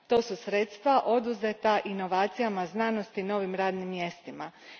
To su sredstva oduzeta inovacijama, znanosti, novim radnim mjestima.